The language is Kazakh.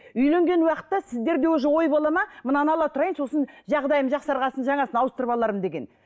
үйленген уақытта сіздерде уже ой болады ма мынаны ала тұрайын сосын жағдайым жақсарған соң жаңасын ауыстырып алармын деген